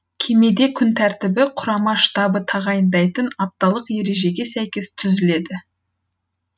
кемеде күн тәртібі құрама штабы тағайындайтын апталық ережеге сәйкес түзіледі